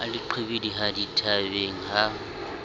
ha le qhibidiha dithabeng ha